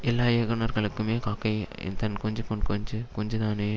எல்லா இயகுனர்களுக்குமே காக்கை தன் குஞ்சு பொன் குஞ்சு குஞ்சுதானே